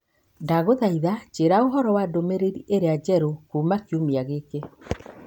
Ndagũthaitha njĩĩra ũhoro wa ndũmĩrĩri ĩrĩa njerũ kuuma kiumia gĩkĩ.